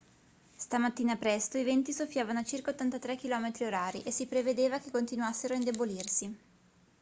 stamattina presto i venti soffiavano a circa 83 km/h e si prevedeva che continuassero a indebolirsi